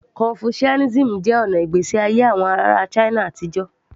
Confucianism jẹ́ ọ̀nà ìgbésí ayé àwọn ará china àtijọ́